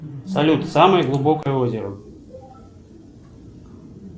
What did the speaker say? салют самое глубокое озеро